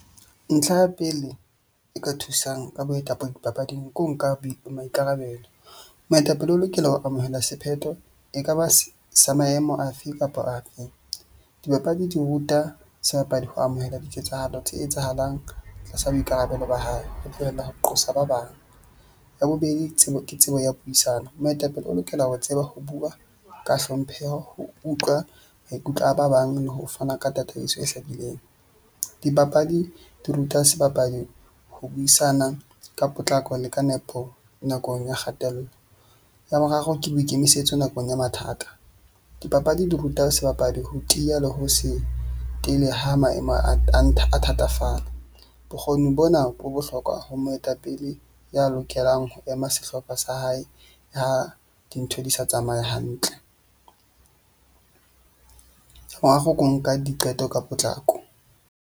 Ntlha ya pele e ka thusang ka boetapele dipapading ko nka maikarabelo. Moetapele o lokela ho amohela sephetho e ka ba sa maemo afe kapa afe. Dibapadi di ruta sebapadi ho amohela diketsahalo tse etsahalang tlasa boikarabelo ba hae. Ho tlohela ho qosa ba bang. Ya bobedi, tsebo ke tsebo ya puisano. Moetapele o lokela ho tseba ho bua ka hlompheho, ho utlwa maikutlo a ba bang, le ho fana ka tataiso e hlakileng. Dibapadi di ruta sebapadi ho buisana ka potlako le ka nepo nakong ya kgatello. Ya boraro ke boikemisetso nakong ya mathata. Dipapadi di ruta sebapadi ho tiya le ho se tele ha maemo a a thatafala. Bokgoni bona bo bohlokwa ho moetapele ya lokelang ho ema sehlopha sa hae ha dintho di sa tsamaye hantle. ko nka diqeto ka potlako.